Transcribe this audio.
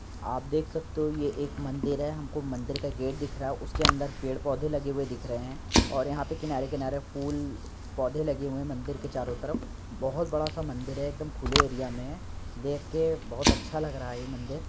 आप देख सकते हो ये एक मंदिर है हम को मंदिर का गेट दिख रहा है। उसके अंदर पेड़-पौधे लगे हुए दिख रहे हैं और यहाँ पे किनारे-किनारे फूल-पौधे लगे हुए हैं मंदिर के चारों तरफ बोहोत बड़ा सा मंदिर है एक दम खुले एरिया में है। देख के बोहोत अच्छा लग रहा है ये मंदिर --